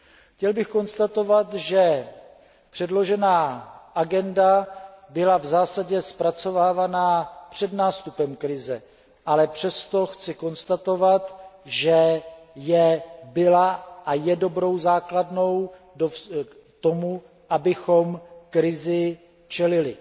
Chtěl bych konstatovat, že předložená agenda byla v zásadě zpracovávána před nástupem krize, ale přesto chci konstatovat, že byla a je dobrou základnou k tomu, abychom krizi čelili.